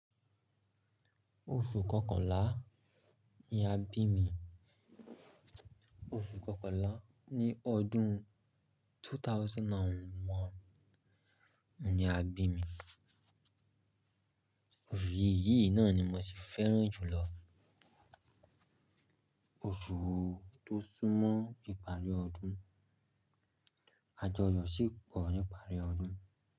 Oṣù kọkànlá ni a bí mi, oṣù kọkànlá ní ọdún 2001 ni a bí mi. Oṣù yìí náà ni mo si fẹ́ràn jùlọ. Oṣù tó súnmọ́ ìparí ọdún, ajọyọ sí pọ̀ nìparí ọdún.